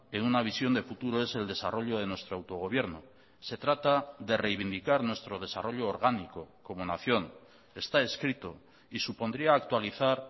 en una visión de futuro es el desarrollo de nuestro autogobierno se trata de reivindicar nuestro desarrollo orgánico como nación está escrito y supondría actualizar